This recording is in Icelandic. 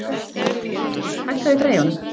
Kristný, hækkaðu í græjunum.